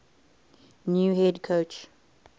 new head coach